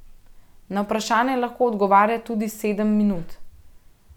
Na vprašanje lahko odgovarja tudi sedem minut.